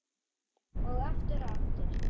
Og aftur og aftur.